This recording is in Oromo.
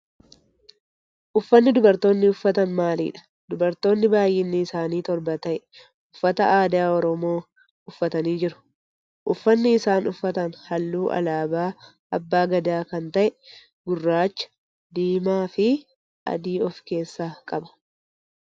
Uffanni dubartoonni uffatan maalidha? Dubartoonni baayyinni isaanii torba ta'e uffata aadaa saba oromoo uffatanii jiru. Uffanni isaan uffatan halluu alaabaa abbaa Gadaa kan ta'e gurraacha, diimaa fi adii of keessaa qaba.